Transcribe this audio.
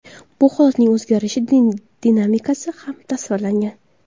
Bu holatlarning o‘zgarish dinamikasi ham tasvirlangan.